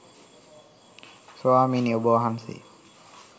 ස්වාමීනි ඔබ වහන්සේ